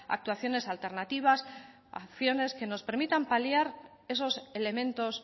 actuaciones alternativas acciones que nos permitan paliar esos elementos